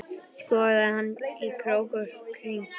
Skoðaði hana í krók og kring.